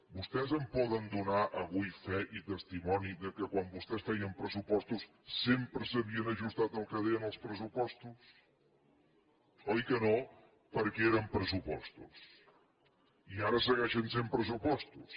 vostès em poden donar avui fe i testimoni que quan vostès feien pressupostos sempre s’havien ajustat al que deien els pressupostos oi que no perquè eren pressupostos i ara segueixen sent pressupostos